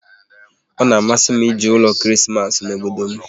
Ọ na-amasị m ije ụlọ Krismas n'obodo m